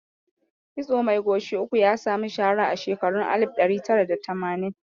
Kitso mai goshi uku ya sami shaara a shekarun alif ɗari tara da tamanin